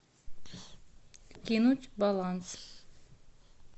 кинуть баланс